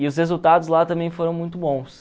E os resultados lá também foram muito bons.